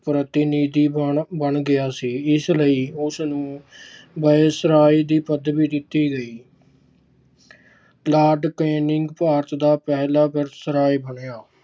ਪ੍ਰਤੀਨਿਧੀ ਬਣ ਗਿਆ ਸੀ। ਇਸ ਲਈ ਉਸਨੂੰ viceroy ਦੀ ਪਦਵੀ ਦਿੱਤੀ ਗਈ। Lord Canning ਭਾਰਤ ਦਾ ਪਹਿਲਾ viceroy ਬਣਿਆ।